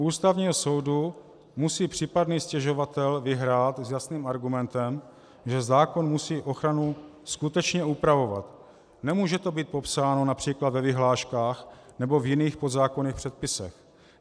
U Ústavního soudu musí případný stěžovatel vyhrát s jasným argumentem, že zákon musí ochranu skutečně upravovat, nemůže to být popsáno například ve vyhláškách nebo v jiných podzákonných předpisech.